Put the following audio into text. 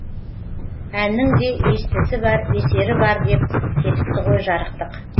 әннің де естісі бар есері бар деп кетіпті ғой жарықтық